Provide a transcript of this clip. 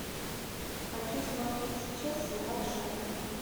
хочу смотреть сейчас сериал шерлок